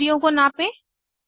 लम्ब दूरियों को नापें